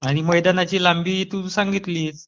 आणि मैदानाची लांबी तू सांगितलीस